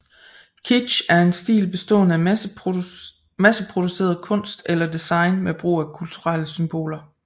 Kitsch er en stil bestående af masseproduceret kunst eller design med brug af kulturelle symboler